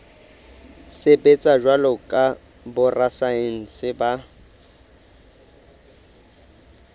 sebetsa jwalo ka borasaense ba